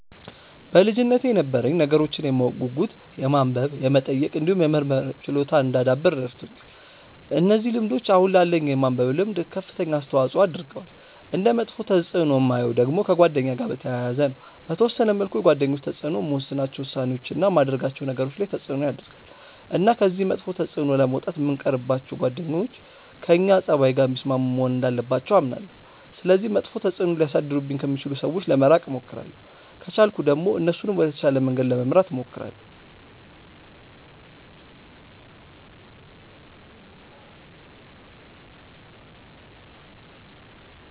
በልጅነቴ የነበረኝ ነገሮችን የማወቅ ጉጉት የማንበብ የመጠየቅ እንዲሁም የመመርመር ችሎታን እንዳዳብር ረድቶኛል። እነዚህ ልምዶች አሁን ላለኝ የማንበብ ልምድ ከፍተኛ አስተዋጽዖ አድርገዋል። እንደ መጥፎ ተፅእኖ የማየው ደግሞ ከጓደኛ ጋር በተያያዘ ነው። በተወሰነ መልኩ የጓደኞች ተጽእኖ የምወስናቸው ውሳኔዎች፣ እና የማደርጋቸው ነገሮች ላይ ተጽእኖ ያረጋል። እና ከዚህ መጥፎ ተጽእኖ ለመውጣት የምንቀርባቸው ጓደኞች ከእኛ ፀባይ ጋር የሚስማሙ መሆን እንዳለባቸው አምናለሁ። ስለዚህ መጥፎ ተጽእኖ ሊያሳድሩብኝ ከሚችሉ ሰዎች ለመራቅ እሞክራለሁ። ከቻልኩ ደግሞ እነሱንም ወደ ተሻለ መንገድ ለመምራት እሞክራለሁ።